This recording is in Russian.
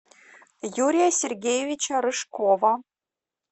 юрия сергеевича рыжкова